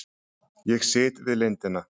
Ég sit við lindina.